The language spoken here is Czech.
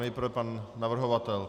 Nejprve pan navrhovatel.